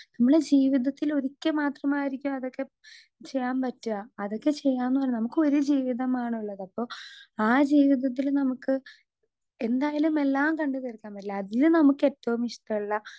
Speaker 2 നമ്മള് ജീവിതത്തില് ഒരിക്കെ മാത്രമായിരിക്കതൊക്കെ ചെയ്യാൻ പറ്റാ അതൊക്കെ ചെയ്യാന്ന് നമുക്ക് ഒരു ജീവിതമാണുള്ളത് അപ്പൊ ആ ജീവിതത്തില് നമുക്ക് എന്തായാലും എല്ലാം കണ്ട് തീർക്കാൻ പറ്റില്ല അതിലും നമുക്കേറ്റോം ഇഷ്ടള്ള.